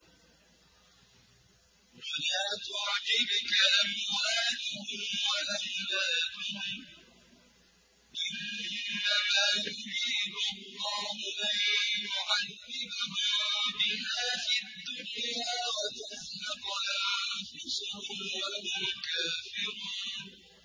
وَلَا تُعْجِبْكَ أَمْوَالُهُمْ وَأَوْلَادُهُمْ ۚ إِنَّمَا يُرِيدُ اللَّهُ أَن يُعَذِّبَهُم بِهَا فِي الدُّنْيَا وَتَزْهَقَ أَنفُسُهُمْ وَهُمْ كَافِرُونَ